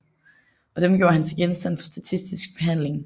Og dem gjorde han til genstand for statistisk behandling